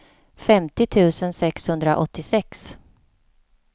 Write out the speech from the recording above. femtio tusen sexhundraåttiosex